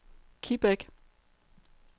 Kibæk